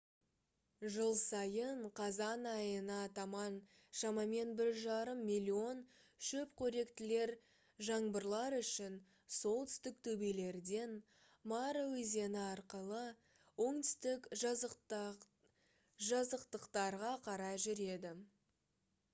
жыл сайын қазан айына таман шамамен 1,5 миллион шөпқоректілер жаңбырлар үшін солтүстік төбелерден мара өзені арқылы оңтүстік жазықтықтарға қарай жүреді